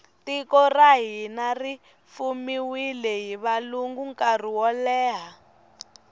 tiko ra hina ri fumiwile hi valungu nkarhi woleha